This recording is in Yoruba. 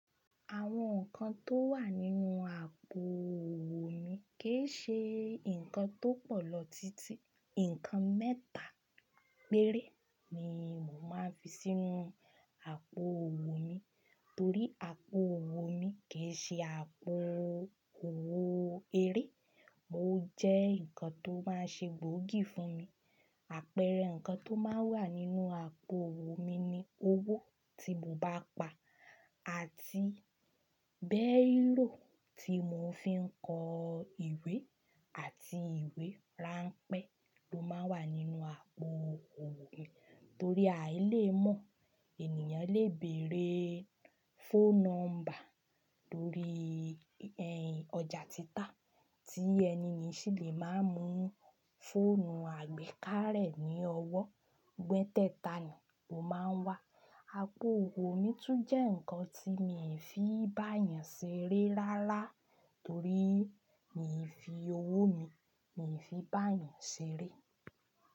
Àwọn nǹkan tó wà nínú àpò owó mi kì í ṣe nǹkan tó pọ̀ lọ títí, nǹkan mẹ́ta péré ni mo máa ń fi sínú àpò owó mi torí àpò owó mi kì í ṣe àpò owó eré, ó jẹ́ nǹkan tó máa ń ṣe gbòógì fún mi. Àpẹẹrẹ nǹkan tó máa ń wà nínú àpò owó mi ni owó tí mo bá pa àti bẹ́rò tí mo fi ń kọ ìwé àti ìwé ránpẹ́ tó máa ń wà nínú àpò owó mi. Torí à í lè mọ̀, ènìyàn lè bèèrè phone number torí ẹhn ọjà títà tí ẹniyen sì lè máa mú fóònù àgbékà rẹ̀ ní ọwọ́, gbẹ́tẹ́ta ni ó máa ń wà. Àpò owó mi tún jẹ́ nǹkan tí mi ò fi bá èèyàn ṣeré rárá torí mi ò fi owó mi, mi ò fi bá èèyàn ṣeré.